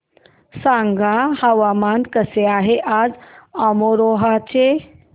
सांगा हवामान कसे आहे आज अमरोहा चे